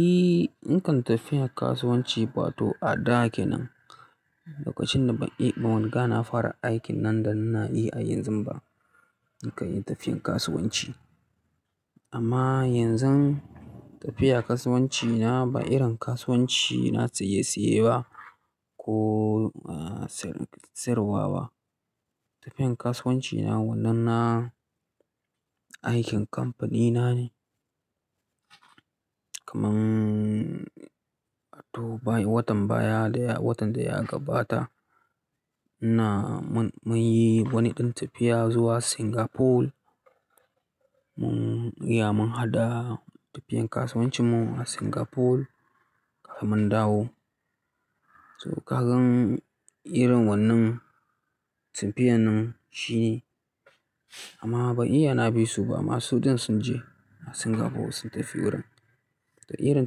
Eh, nakan tafiya kasuwanci wato a da kenan. Lokacin da ban iya, ban wanka na fara aikin nan da na na yi a yanzu ba, nakan yi tafiyan kasuwanci. Amma yanzu tafiya kasuwanci na ba irin kasuwanci na saye saye ba ko, ah, siyarwa ba. Tafiyan kasuwanci na wannan na aikin kamfanina ne. Kaman, to bayan watan baya da ya, watan da ya gabata na, mun, mun yi wani ɗin tafiya zuwa Singapore. Mun, iya mun haɗa tafiyan kasuwancin mu a Singapore kuma mun dawo. So kagan irin wannan tafiyan nan shi ne amma ban iya na bi su ba. Amma sudin sun je Singapore sun tafi wurin. To irin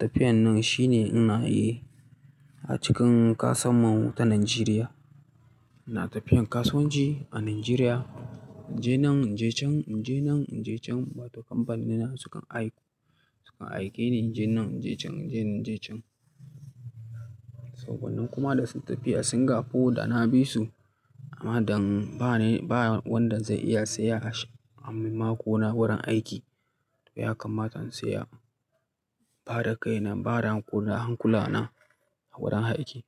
tafiyan nan shi ne ina yi a cikin ƙasan mu ta Najeriya. Na tafiyan kasuwanci a Najeriya. Inje nan inje can, inje nan inje can wato kamfanina su kan aiko, su kan aike ni inje nan inje can inje inje can. So wannan kuma da sun tafiya Singapore da na bi su amma don ba ni, ba wanda zai iya saya a sh, a makona wurin aiki. To ya kammata in tsaya, ba da kaina, ba da hankula na a wurin aiki.